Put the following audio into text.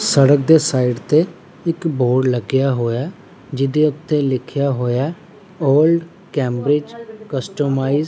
ਸੜਕ ਦੇ ਸਾਈਡ ਤੇ ਇੱਕ ਬੋਰਡ ਲੱਗਿਆ ਹੋਇਆ ਜਿਹਦੇ ਉੱਤੇ ਲਿੱਖਿਆ ਹੋਇਆ ਓਲ੍ਡ ਕੈਮਬ੍ਰਿਜ ਕਸਟੋਮਾਇਜ਼ ।